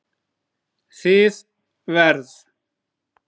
Þið verð